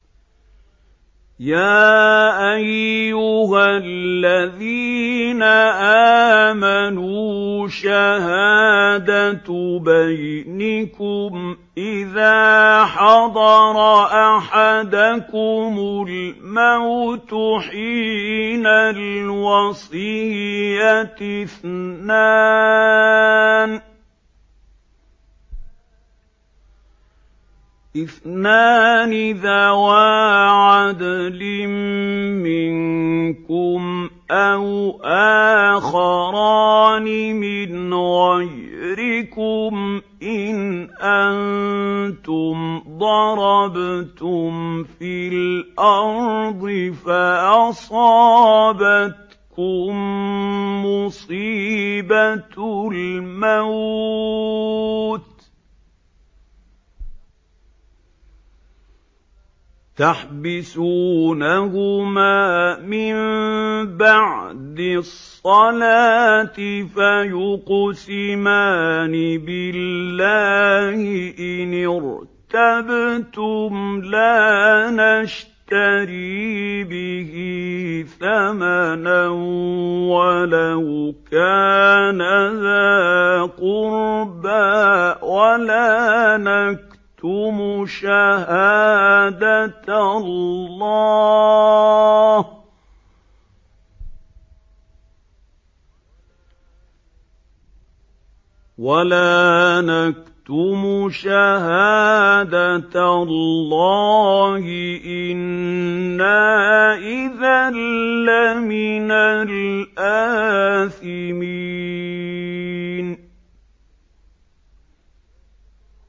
يَا أَيُّهَا الَّذِينَ آمَنُوا شَهَادَةُ بَيْنِكُمْ إِذَا حَضَرَ أَحَدَكُمُ الْمَوْتُ حِينَ الْوَصِيَّةِ اثْنَانِ ذَوَا عَدْلٍ مِّنكُمْ أَوْ آخَرَانِ مِنْ غَيْرِكُمْ إِنْ أَنتُمْ ضَرَبْتُمْ فِي الْأَرْضِ فَأَصَابَتْكُم مُّصِيبَةُ الْمَوْتِ ۚ تَحْبِسُونَهُمَا مِن بَعْدِ الصَّلَاةِ فَيُقْسِمَانِ بِاللَّهِ إِنِ ارْتَبْتُمْ لَا نَشْتَرِي بِهِ ثَمَنًا وَلَوْ كَانَ ذَا قُرْبَىٰ ۙ وَلَا نَكْتُمُ شَهَادَةَ اللَّهِ إِنَّا إِذًا لَّمِنَ الْآثِمِينَ